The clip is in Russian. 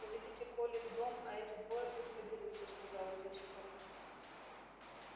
уведите колли в дом а эти двое пусть подерутся сказал отец скотта